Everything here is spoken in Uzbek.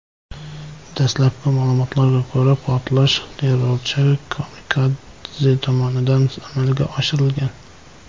Dastlabki ma’lumotlarga ko‘ra, portlash terrorchi-kamikadze tomonidan amalga oshirilgan.